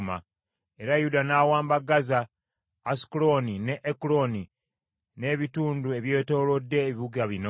Era Yuda n’awamba Gaza, Asukulooni ne Ekuloni n’ebitundu ebyetoolodde ebibuga bino.